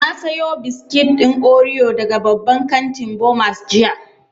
Na sayo biskit ɗin oriyo daga babban kantin Bomas jiya